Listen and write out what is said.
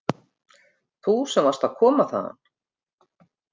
Þú sem varst að koma þaðan.